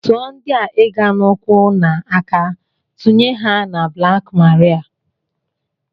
Tụọ ndị a ịga n'ụkwụ na aka tụnye ha na blaak maria!